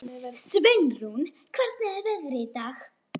Sveinrún, hvernig er veðrið í dag?